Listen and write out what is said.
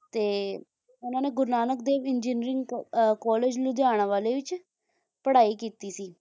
ਤੇ ਉਨ੍ਹਾਂ ਨੇ ਗੁਰੂ ਨਾਨਕ ਦੇਵ ਇੰਜੀਨਰਿੰਗ ਕਾਲਜ ਲੁਧਿਆਣਾ ਵਾਲੇ ਚ ਪੜ੍ਹਾਈ ਕੀਤੀ ਸੀ